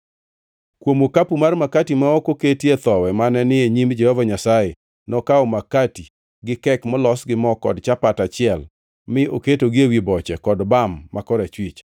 Kuom okapu mar makati ma ok oketie thowi mane ni e nyim Jehova Nyasaye, nokawo makati gi kek molos gi mo kod chapat achiel mi oketogi ewi boche kod bam ma korachwich.